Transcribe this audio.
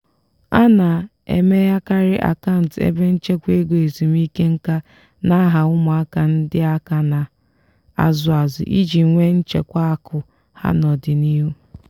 a na-emeghekarị akant ebe nchekwa ego ezumike nkā n'aha ụmụaka ndị aka na-azụ azụ iji nwee nchekwa akụ ha n'ọdịnihu.